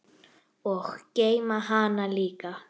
Og geyma hana líka.